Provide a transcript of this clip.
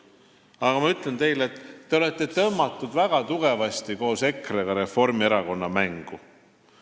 Aga ma ütlen teile, et te olete väga tugevasti koos EKRE-ga tõmmatud Reformierakonna mängu.